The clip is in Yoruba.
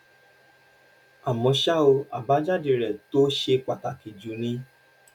àmọ́ ṣá o àbájáde rẹ̀ tó ṣe pàtàkì jù ni